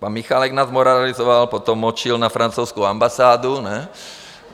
Pan Michálek nás moralizoval, potom močil na francouzskou ambasádu, ne?